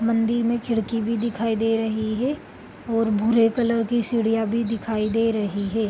मंदिर मे खिड़की भी दिखाई दे रही है और भूरे कलर की सीढ़ियां भी दिखाई दे रही है ।